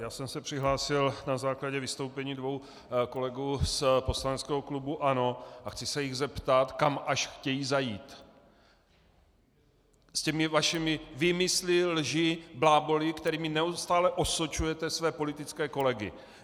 Já jsem se přihlásil na základě vystoupení dvou kolegů z poslaneckého klubu ANO a chci se jich zeptat, kam až chcete zajít s těmi vašimi výmysly, lží, bláboly, kterými neustále osočujete své politické kolegy.